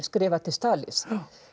skrifar til Stalíns